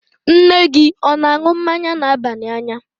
Nne gị ọ̀ na-aṅụ mmanya na-aba n'anya?